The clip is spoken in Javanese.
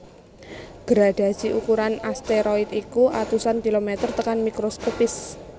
Gradhasi ukuran asteroid iku atusan kilomèter tekan mikroskopis